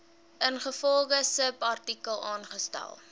ingevolge subartikel aangestel